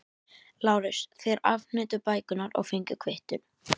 LÁRUS: Þér afhentuð bækurnar og fenguð kvittun.